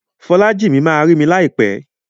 Folájìmí ma rí mi láìpẹ́.